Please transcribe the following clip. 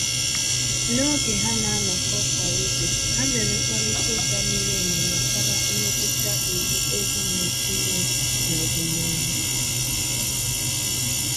N’oge ha na-anọkọ kwa izu, ha mèrè mkparịta ụka miri emi gbasàra mmetụta iwu ego nwere ike inwe n’ọdịnihu.